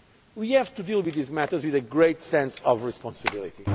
We have to deal with these matters with a great sense of responsibility.